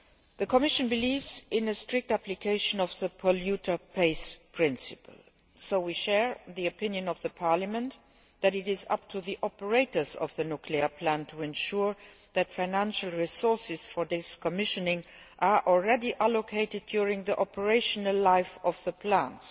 The Commission believes in a strict application of the polluter pays' principle, so we share the opinion of Parliament that it is up to the operators of the nuclear plant to ensure that financial resources for decommissioning are already allocated during the operational life of the plants.